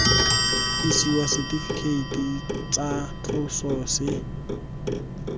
isiwa setifikeiti tsa tloso se